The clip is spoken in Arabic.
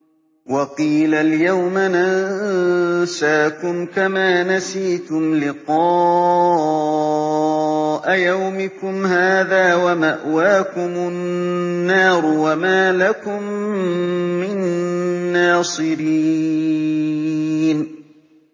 وَقِيلَ الْيَوْمَ نَنسَاكُمْ كَمَا نَسِيتُمْ لِقَاءَ يَوْمِكُمْ هَٰذَا وَمَأْوَاكُمُ النَّارُ وَمَا لَكُم مِّن نَّاصِرِينَ